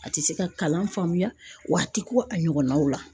A tɛ se ka kalan faamuya wa a ti ku a ɲɔgɔnnaw la.